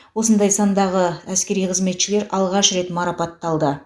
осындай сандағы әскери қызметшілер алғаш рет марапатталды